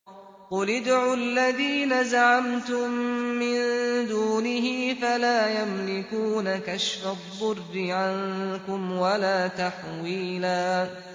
قُلِ ادْعُوا الَّذِينَ زَعَمْتُم مِّن دُونِهِ فَلَا يَمْلِكُونَ كَشْفَ الضُّرِّ عَنكُمْ وَلَا تَحْوِيلًا